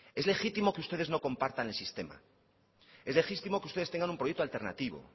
es legítimo que ustedes no compartan el sistema es legítimo que ustedes tengan un proyecto alternativo